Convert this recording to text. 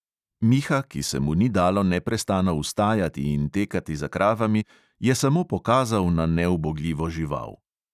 Miha, ki se mu ni dalo neprestano vstajati in tekati za kravami, je samo pokazal na neubogljivo žival.